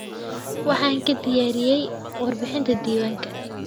Waxaan ka diyaariyay warbixinta diiwaanka.